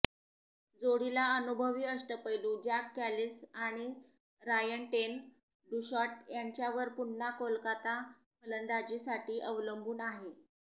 जोडीला अनुभवी अष्टपैलू ज्याक कॅलिस आणि रायन टेन डूशॉट यांच्यावर पुन्हा कोलकाता फलंदाजीसाठी अवलंबून आहे